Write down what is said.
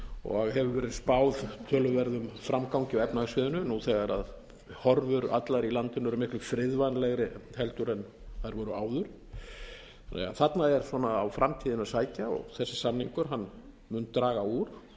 og hefur verið spáð töluverðum framgangi á efnahagssviðinu nú þegar horfur allar í landinu eru miklu friðvænlegri en þær voru áður þarna er á framtíðina að sækja og þessi samningur mun draga úr